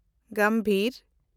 ᱜᱟᱢᱵᱷᱤᱨ